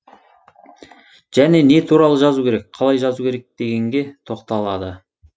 және не туралы жазу керек қалай жазу керек дегенге тоқталады